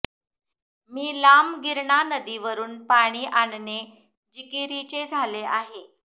मी लांब गिरणा नदीवरून पाणी आणणे जिकिरीचे झाले आहे